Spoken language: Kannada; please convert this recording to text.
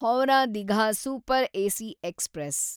Howrah Digha super AC express